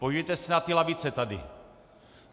Podívejte se na ty lavice tady.